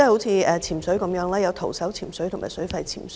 以潛水為例，當中包括徒手潛水及水肺潛水。